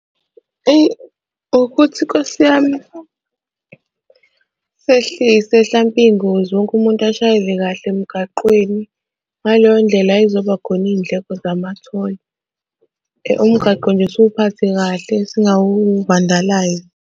Eyi ukuthi Nkosi yami sehlise hlampe iy'ngozi wonke umuntu ashayele kahle emgaqweni ngaleyo ndlela ay'zoba khona iy'ndleko zama-toll. Umgaqo nje siwuphathe kahle .